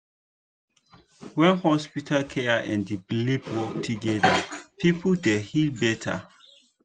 when hospital care and belief work together people dey heal better.